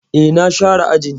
E, na share ajin.